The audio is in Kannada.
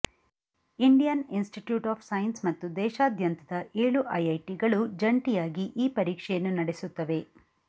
ಇಂಡಿಯನ್ ಇನ್ಸ್ಟಿಟ್ಯೂಟ್ ಆಫ್ ಸೈನ್ಸ್ ಮತ್ತು ದೇಶಾದ್ಯಂತದ ಏಳು ಐಐಟಿಗಳು ಜಂಟಿಯಾಗಿ ಈ ಪರೀಕ್ಷೆಯನ್ನು ನಡೆಸುತ್ತವೆ